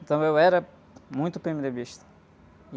Então eu era muito pê-eme-dê-bista.